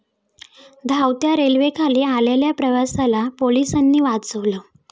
धावत्या रेल्वेखाली आलेल्या प्रवाशाला पोलिसांनी वाचवलं